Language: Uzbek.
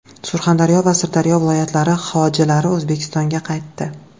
Surxondaryo va Sirdaryo viloyatlari hojilari O‘zbekistonga qaytdi.